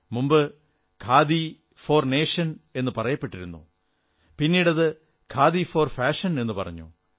മുമ്പ് ഖാദി എന്നത് khadi for nation എന്നു പറയപ്പെട്ടിരുന്നു പിന്നീട് ഖാദി ഫോർ ഫാഷൻ എന്നു പറഞ്ഞു